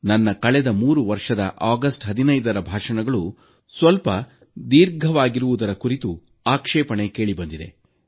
ನನ್ನ ಕಳೆದ 3 ವರ್ಷಗಳ ಆಗಸ್ಟ್ 15ರ ಭಾಷಣಗಳು ಸ್ವಲ್ಪ ದೀರ್ಘವಾಗಿರುವುದರ ಆಕ್ಷೇಪಣೆ ಕೇಳಿಬಂದಿದೆ